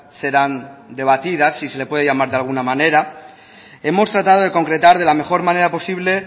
serán debatidas si se le puede llamar de alguna manera hemos tratado de concretar de la mejor manera posible